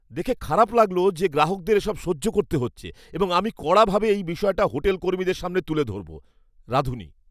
দেখে খারাপ লাগলো যে গ্রাহকদের এসব সহ্য করতে হচ্ছে এবং আমি কড়াভাবে এই বিষয়টা হোটেল কর্মীদের সামনে তুলে ধরব । রাঁধুনি